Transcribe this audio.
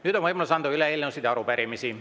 Nüüd on võimalus anda üle eelnõusid ja arupärimisi.